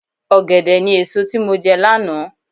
Ọ̀gẹ̀dẹ̀ ni èso tí mo jẹ lánàá.